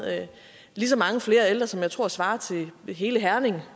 lige så mange flere ældre som jeg tror svarer til hele herning